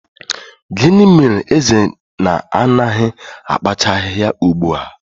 Gịnị mere eze na-anaghị akpacha ahịhịa ugbu a?